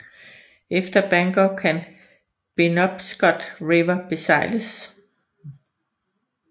Efter Bangor kan Penobscot River besejles